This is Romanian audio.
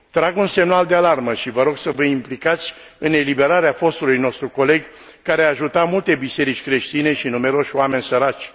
Trag un semnal de alarmă și vă rog să vă implicați în eliberarea fostului nostru coleg, care a ajutat multe biserici creștine și numeroși oameni săraci.